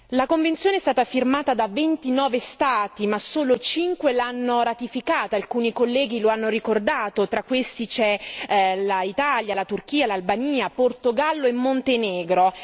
La convenzione è stata firmata da 29 Stati ma solo 5 l'hanno ratificata alcuni colleghi lo hanno ricordato tra questi c'è l'Italia, la Turchia, l'Albania, il Portogallo e il Montenegro.